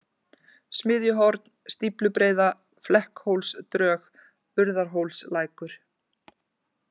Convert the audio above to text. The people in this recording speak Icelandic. Smiðjuhorn, Stíflubreiða, Flekkhólsdrög, Urðarhólslækur